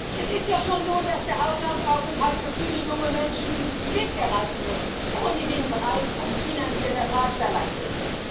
Es ist ja schon so, dass der Auslandsaufenthalt für viele junge Menschen mit ERASMUS ohnehin bereits ein finanzieller Drahtseilakt ist.